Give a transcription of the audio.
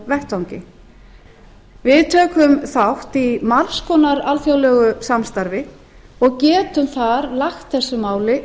vettvangi við tökum þátt í margs konar alþjóðlegu samstarfi og getum þar lagt þessu máli